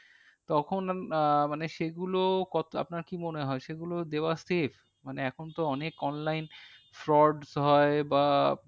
তখন আহ মানে সেগুলো আপনার কি মনে হয় সেগুলো দেওয়া save মানে এখন তো অনেক online frauds বা